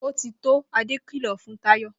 Ó ti tó!' Adé kìlọ̀ fún Táyò